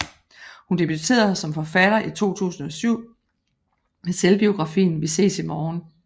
Hun debuterede som forfatter i 2007 med selvbiografien Vi ses i morgen